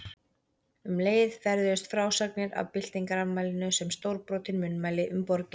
Um leið ferðuðust frásagnir af byltingarafmælinu sem stórbrotin munnmæli um borgina.